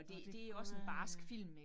Nåh det kan godt være øh